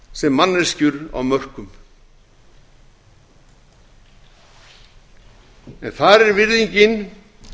sem manneskjur á mörkum en þar er virðingin